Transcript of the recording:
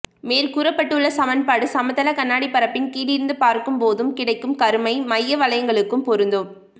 மேற்கூறப்பட்டுள்ள சமன்பாடு சமதள கண்ணாடி பரப்பின் கீழிருந்து பார்க்கும் போதும் கிடைக்கும் கருமை மைய வளையங்களுக்கும் பொருந்தும்